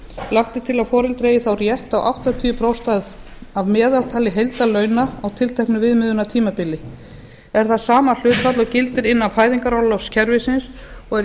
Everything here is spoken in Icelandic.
lagt er til að foreldri eigi þá rétt á áttatíu prósent af meðaltali heildarlauna á tilteknu viðmiðunartímabili er það sama hlutfall og gildir innan fæðingarorlofskerfisins og er